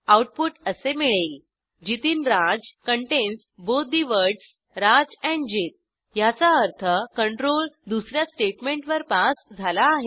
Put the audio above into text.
output असे मिळेल Jitinraj contains both the words Raj and Jit ह्याचा अर्थ कंट्रोल दुस या स्टेटमेंटवर पास झाला आहे